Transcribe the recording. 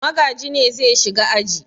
Magaji ne zai shiga aji.